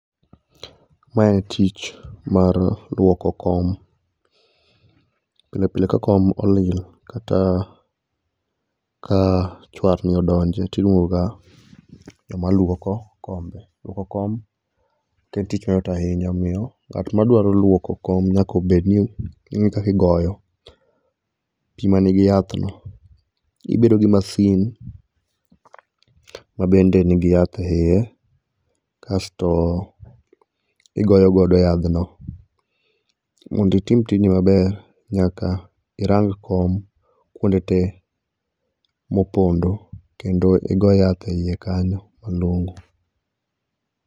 Mae tich mar luoko kom, pile pile ka kom olil kata ka chwarni odonje tiluonga joma luoko kombe. Luoko kom ok en tich mayot ahinya omiyo ng'at ma dwaro luoko kom nyaka ong'e kakigoyo pi man nigi yathno. Ibedo gi masin ma bende nigi yath e iye, kasto, igoyogodo yadhno. Monditim tijni maber, nyaka irang kom kuonde tee mopondo kendo igo yath e iye kanyo malong'o.